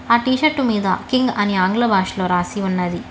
అ T shirt మీద king అని ఆంగ్ల భాషలో రాసి ఉన్నది.